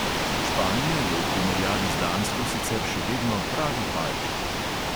Španija je v primerjavi z dansko sicer še vedno pravi palček.